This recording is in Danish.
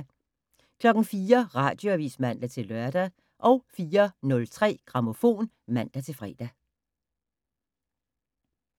04:00: Radioavis (man-lør) 04:03: Grammofon (man-fre)